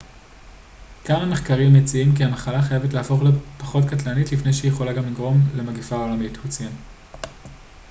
כמה מחקרים מציעים כי המחלה חייבת להפוך לפחות קטלנית לפני שהיא יכולה לגרום למגפה עולמית הוא ציין